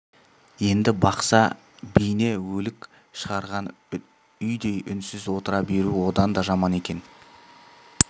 енді бақса бейне өлік шығарған үйдей үнсіз отыра беру одан да жаман екен